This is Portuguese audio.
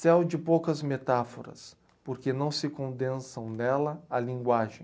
Céu de poucas metáforas, porque não se condensam dela a linguagem.